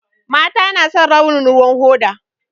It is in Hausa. Mata na son launin ruwan hoda